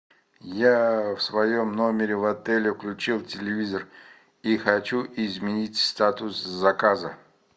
я в своем номере в отеле включил телевизор и хочу изменить статус заказа